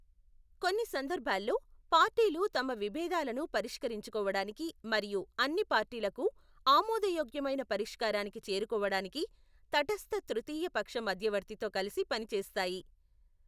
కొన్ని సందర్భాల్లో, పార్టీలు తమ విభేదాలను పరిష్కరించుకోవడానికి మరియు అన్ని పార్టీలకు ఆమోదయోగ్యమైన పరిష్కారానికి చేరుకోవడానికి తటస్థ తృతీయ పక్ష మధ్యవర్తితో కలిసి పని చేస్తాయి.